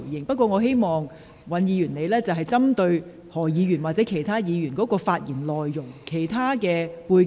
不過，我希望尹議員針對何議員或其他議員的相關發言內容而作回應。